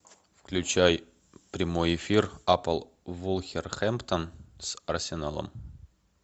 включай прямой эфир апл вулверхэмптон с арсеналом